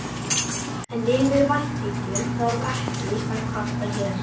En yfir ættingjum þarf ekki að kvarta hér.